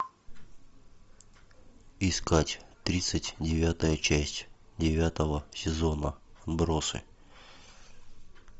искать тридцать девятая часть девятого сезона отбросы